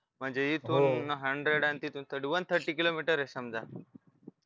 म्हणजे इथून hundred तिथून thirty-one thirty किलोमीटर आहे समजा